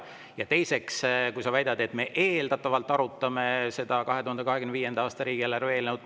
Ja teiseks, sa väitsid, et me eeldatavalt arutame 2025. aasta riigieelarve eelnõu.